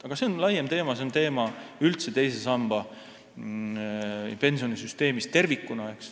Aga see on üldse laiem teema, teine sammas ja pensionisüsteem tervikuna.